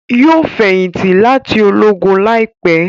Yóò feyinti láti Ológùn láìpé